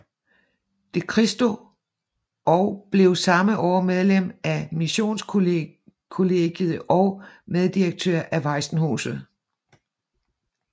De Christo og blev samme år medlem af missionskollegiet og meddirektør af Waisenhuset